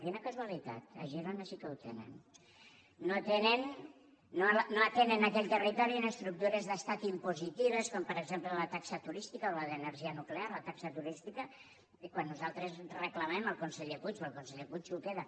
quina casualitat a girona sí que ho tenen no atenen a aquell territori estructures d’estat impositives com per exemple la taxa turística o la d’energia nuclear la taxa turística que quan nosaltres reclamem al conseller puig o el conseller puig s’ho queda